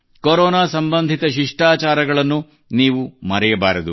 corona ಸಂಬಂಧಿತ ಶಿಷ್ಠಾಚಾರಗಳನ್ನು ನೀವು ಮರೆಯಬಾರದು